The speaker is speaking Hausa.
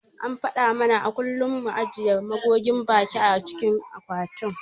An faɗa mana a kullum mu ajiye magogin baki a cikin akwatin.